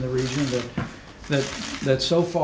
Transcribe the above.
við skulum sjá frá